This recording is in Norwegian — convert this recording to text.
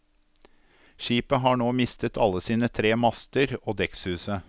Skipet har nå mistet alle sine tre master og dekkshuset.